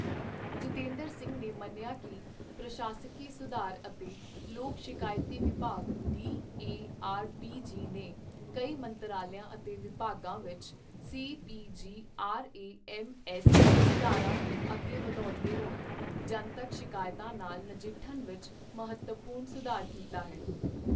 ਜਿਤੇਂਦਰ ਸਿੰਘ ਨੇ ਮੰਨਿਆ ਕਿ ਪ੍ਰਸ਼ਾਸਕੀ ਸੁਧਾਰ ਅਤੇ ਲੋਕ ਸ਼ਿਕਾਇਤ ਵਿਭਾਗ ਡੀਏਆਰਪੀਜੀ ਨੇ ਕਈ ਮੰਤਰਾਲਿਆਂ ਅਤੇ ਵਿਭਾਗਾਂ ਵਿੱਚ ਸੀਪੀਜੀਆਰਏਐੱਮਐੱਸ ਸੁਧਾਰਾਂ ਨੂੰ ਅੱਗੇ ਵਧਾਉਂਦੇ ਹੋਏ ਜਨਤਕ ਸ਼ਿਕਾਇਤਾਂ ਨਾਲ ਨਜਿੱਠਣ ਵਿੱਚ ਮਹੱਤਵਪੂਰਨ ਸੁਧਾਰ ਕੀਤਾ ਹੈ।